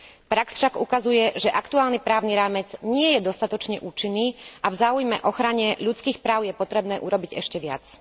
Prax však ukazuje, že aktuálny právny rámec nie je dostatočne účinný a v záujme ochrany ľudských práv je potrebné urobiť ešte viac.